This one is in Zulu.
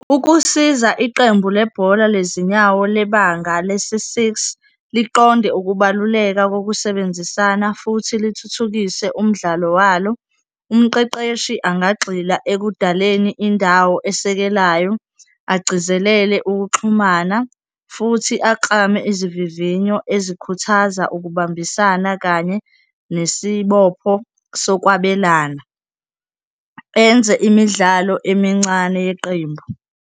Ukusiza iqembu lebhola lezinyawo lebanga lesi-six, liqonde ukubaluleka kokusebenzisana futhi lithuthukise umdlalo walo, umqeqeshi angagxila ekudaleni indawo esekelayo, agcizelele ukuxhumana futhi aklame izivivinyo ezikhuthaza ukubambisana kanye nesibopho sokwabelana, enze imidlalo emincane yeqembu.